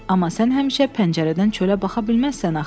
Amma sən həmişə pəncərədən çölə baxa bilməzsən axı.